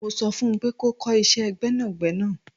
Mo so fun pe kò kọ ìṣe Gbẹ́nàgbẹ́nà